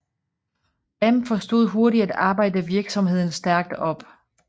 Damm forstod hurtigt at arbejde virksomheden stærkt op